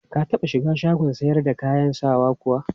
Ka taɓa shiga shagon sayar da kayan sawan kuwa?